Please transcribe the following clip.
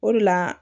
O de la